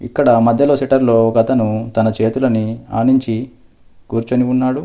ఇక్కడ మధ్యలో షటర్లో ఒకతను తన చేతులని ఆనించి కూర్చొని ఉన్నాడు.